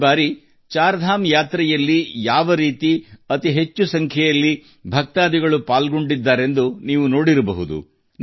ಈ ಬಾರಿ ಚಾರ್ ಧಾಮ್ ಯಾತ್ರೆಯಲ್ಲಿ ಹೆಚ್ಚಿನ ಸಂಖ್ಯೆಯಲ್ಲಿ ಭಕ್ತರು ಭಾಗವಹಿಸಿದ್ದನ್ನು ನೀವು ನೋಡಿರಬೇಕು